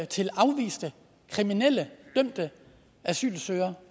til afviste kriminelle dømte asylansøgere